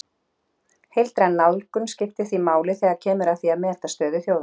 Heildræn nálgun skiptir því máli þegar kemur að því að meta stöðu þjóða.